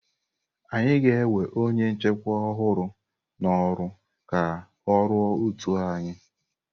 Anyị ga-ewe onye nchịkwa ọhụrụ n'oru ka ọ rụọ ótù anyị.